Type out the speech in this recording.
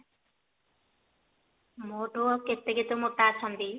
ମୋ ଠୁ ଆଉ କେତେ କେତେ ମୋଟା ଅଛନ୍ତି